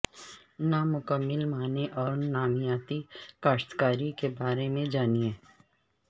نامکمل معنی اور نامیاتی کاشتکاری کے بارے میں جانیں